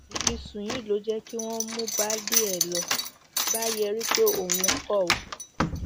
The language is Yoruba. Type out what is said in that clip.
ìfisùn yìí ló jẹ kí wọn lọọ mú baálé ló bá yarí pé òun kọ ọ